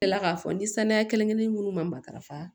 Kila k'a fɔ ni saniya kelen kelen munnu ma matarafa